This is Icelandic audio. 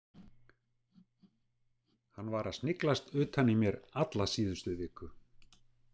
Hann var að sniglast utan í mér alla síðustu viku.